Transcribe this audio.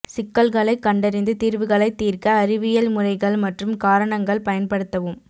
சிக்கல்களைக் கண்டறிந்து தீர்வுகளைத் தீர்க்க அறிவியல் முறைகள் மற்றும் காரணங்கள் பயன்படுத்தவும்